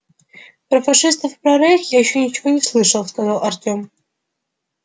про фашистов про рейх я ещё ничего не слышал сказал артём